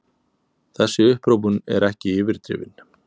Þessi upphrópun er ekki yfirdrifin.